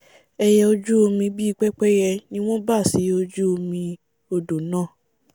ẹiyẹ ojú omi bíi pẹ́pẹ́íyẹ ni wọ́n bà sí ojú omi odò náà